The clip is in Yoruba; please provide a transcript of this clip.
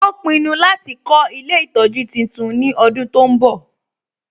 Ó pinnu láti kọ́ ilé ìtọjú titun ní ọdún tó ń bọ̀